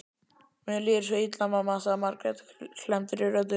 Mér líður svo illa, mamma, sagði Margrét klemmdri röddu.